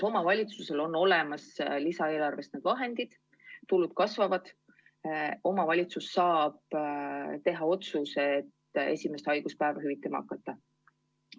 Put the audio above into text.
Omavalitsusel on olemas lisaeelarvest saadavad vahendid, tulud kasvavad, omavalitsus saab teha otsuse esimest haiguspäeva hüvitama hakata.